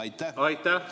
Aitäh!